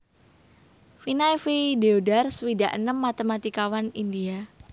Vinay V Deodhar swidak enem matématikawan India